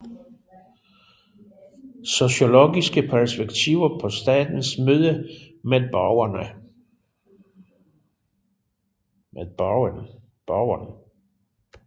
Sociologiske perspektiver på statens møde med borgeren